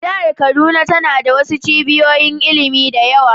Jihar kaduna tana da wasu cibiyoyin ilimi da yawa